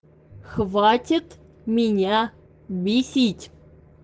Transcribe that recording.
хватит меня бесить